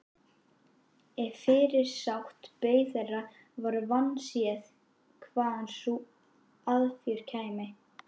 Ef fyrirsát beið þeirra var vandséð hvaðan sú aðför kæmi.